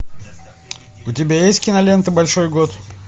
у тебя есть кинолента большой год